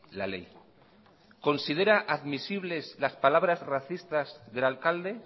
la ley considera admisibles las palabras racistas del alcalde